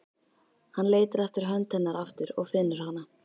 Hann leitar eftir hönd hennar aftur og finnur hana.